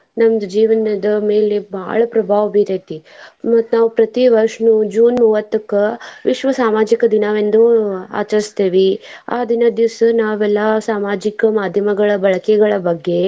ನಮ್ದ್ ಜೀವನದ ಮೇಲೆ ಬಾಳ ಪ್ರಭಾವ ಬೀರೈತಿ. ಮತ್ತ್ ನಾವ್ ಪ್ರತೀ ವರ್ಷ June ಮೂವತ್ತಕ್ಕ ವಿಶ್ವ ಸಾಮಾಜಿಕ ದಿನವೆಂದು ಆಚರಸ್ತೇವಿ ಆ ದಿನದ ದಿವ್ಸ ನಾವೆಲ್ಲಾ ಸಾಮಾಜಿಕ ಮಾದ್ಯಮಗಳ ಬಳಕೆಗಳ ಬಗ್ಗೆ.